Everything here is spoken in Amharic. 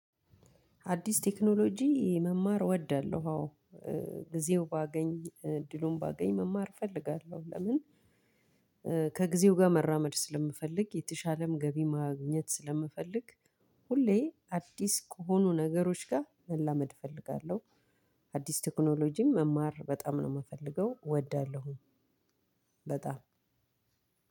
አዲስ ቴክኖሎጂ መማር እወዳለሁ። አዎ ጊዜው ባገኝ እድሉን ባገኝ መማር እፈልጋለሁ። ለምን ከጊዜው ጋር መራመድ ስለምፈልግ የተሻለም ገቢ ማግኘት ስለምፈልግ። ሁሌ አዲስ ከሆኑ ነገሮች ጋር መላመድ እፈልጋለሁ። አዲስ ቴክኖሎጂም መማር በጣም ነው የምፈልገው እወዳለሁ። በጣም